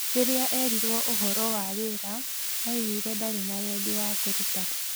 Rĩrĩra orirwe ũhoro wa wĩra augire ndari na wendi wa kũũruta